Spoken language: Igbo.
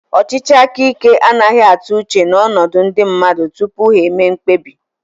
Ọchịchị aka ike anaghị atụ uche n'ọnọdụ ndị mmadụ tupu ha emee mkpebi